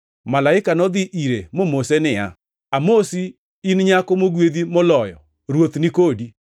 Malaika nodhi ire momose niya, “Amosi, in nyako mogwedhi moloyo! Ruoth ni kodi.”